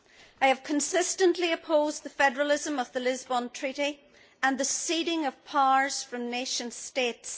I have consistently opposed the federalism of the Lisbon Treaty and the ceding of powers from nation states.